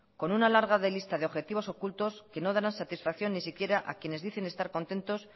con una larga lista de objetivos ocultos que no darán satisfacción ni siquiera a quienes dicen estar contentos